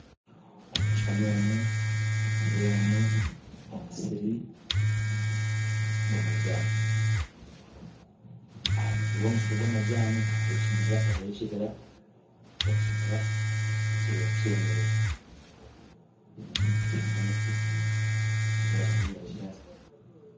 Omu kishushani omu nitureebamu omusiri gw'amajani aharubaju rw'omusiri gw'amajani ahariho ekibira kyemerize kyine emiti mingi n'erangi yakinyaatsi